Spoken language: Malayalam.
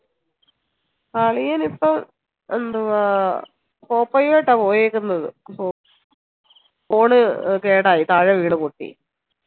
അളിയനിപ്പോ എന്തുവാ പോപ്പേയുആയിട്ട പോയേക്കുന്നെ അപ്പൊ phone കേടായി താഴെ വീണു പൊട്ടി